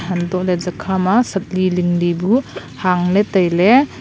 anto ley chi kha ma sahli ling bu nu hang ley taile.